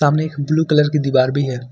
सामने एक blue colour की दीवार भी है।